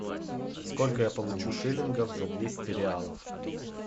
сколько я получу шиллингов за двести реалов